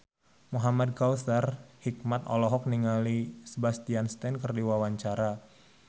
Muhamad Kautsar Hikmat olohok ningali Sebastian Stan keur diwawancara